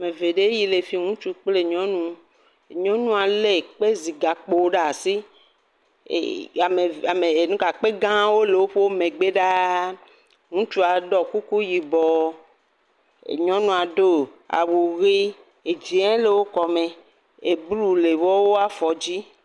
Ame eve ɖe le fi, ŋutsu kple nyɔnu. Nyɔnua lé kpezigakpo ɖe asi. Kpe gãwo le woƒe megbe ɖaa. Ŋutsu ɖɔ kuku yibɔ. Nyɔnua ɖo awu ʋi, dzɛ̃ le wo kɔme. Blu le wo afɔ dzi.